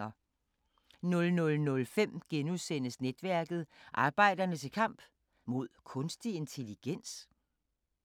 00:05: Netværket: Arbejderne til kamp... mod kunstig intelligens? *